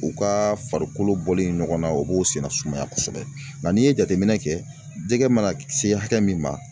U ka farikolo bɔlen ɲɔgɔnna o b'o senna sumaya kosɛbɛ nka n'i ye jateminɛ kɛ jɛgɛ mana se hakɛ min ma.